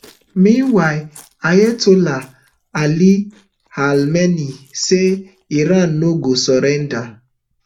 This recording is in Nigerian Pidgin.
meanwhile ayatollah ali hamenei say iran no go surrender